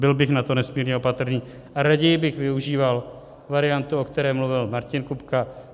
Byl bych na to nesmírně opatrný a raději bych využíval variantu, o které mluvil Martin Kupka.